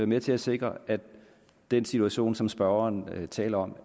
med til at sikre at den situation som spørgeren taler om